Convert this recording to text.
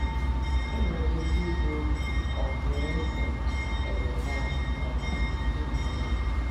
O nwere ike ịbụ ọprínsị Hezekaya um nke Juda.